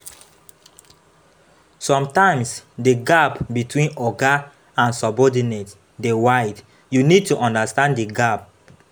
Sometimes di gap between oga and subordinate dey wide, you need to understand di gap